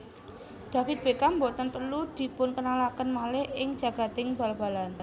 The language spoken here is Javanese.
David Beckham boten perlu dipunkenalaken malih ing jagading bal balan